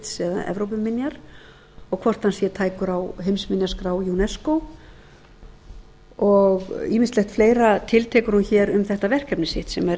heritage eða evrópuminja og hvort hann sé tækur á heimsminjaskrá unesco og ýmislegt fleira tiltekur hún hér um þetta verkefni sitt sem er